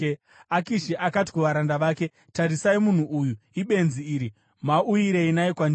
Akishi akati kuvaranda vake, “Tarisai munhu uyu! Ibenzi iri! Mauyirei naye kwandiri?